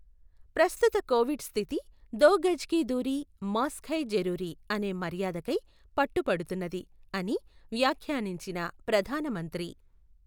ప్రస్తుత కోవిడ్ స్థితి దో గజ్ కీ దూరీ మాస్క్ హై జరూరీ అనే మర్యాద కై పట్టు పడుతున్నది అని వ్యాఖ్యానించిన ప్రధాన మంత్రి